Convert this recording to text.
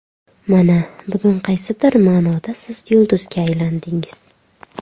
Mana bugun qaysidir ma’noda siz yulduzga aylandingiz.